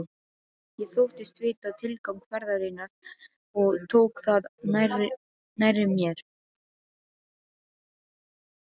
Ég þóttist vita tilgang ferðarinnar og tók það nærri mér.